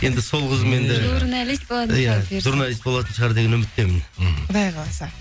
енді сол қызым енді иә журналист болатын шығар деген үміттемін мхм құдай қаласа